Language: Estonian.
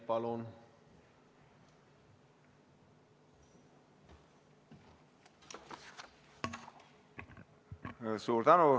Palun!